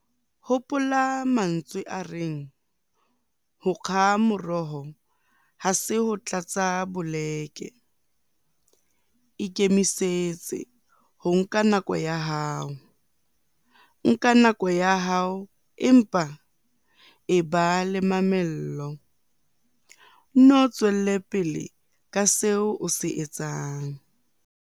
Hopola mantswe a reng 'Ho kga moroho ha se ho tlatsa boleke'. Ikemisetse ho nka nako ya hao. Nka nako ya hao empa eba le mamello - Nno tswele pele ka seo o se etsang.